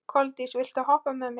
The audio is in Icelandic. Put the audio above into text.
Koldís, viltu hoppa með mér?